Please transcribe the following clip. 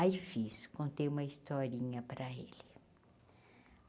Aí fiz, contei uma historinha para ele.